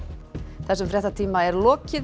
þessum fréttatíma er lokið